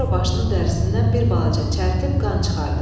Sonra başının dərisindən bir balaca çərtib qan çıxartdı.